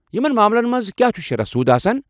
یمن معاملن منٛز کیٛاہ چھُ شرح سوٗد آسان؟